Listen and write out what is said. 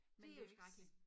Det jo skrækkeligt